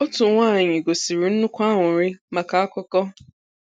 Òtù nwanyị gosìrì nnukwu àńụ̀rị maka akụkọ.